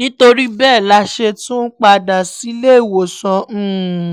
nítorí bẹ́ẹ̀ la ṣe tún padà sílé ìwòsàn um